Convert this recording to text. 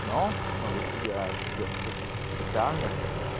но но если бы я сидел в социальных